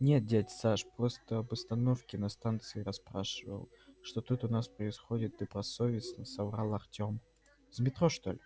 нет дядь саш просто об обстановке на станции расспрашивал что тут у нас происходит добросовестно соврал артём